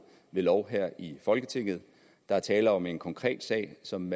lov her i folketinget der er tale om en konkret sag som